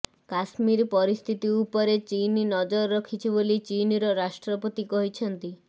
କାଶ୍ମୀର ପରିସ୍ଥିତି ଉପରେ ଚୀନ୍ ନଜର ରଖିଛି ବୋଲି ଚୀନ୍ର ରାଷ୍ଟ୍ରପତି କହିଛନ୍ତି